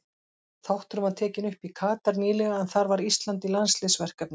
Þátturinn var tekinn upp í Katar nýlega en þar var Ísland í landsliðsverkefni.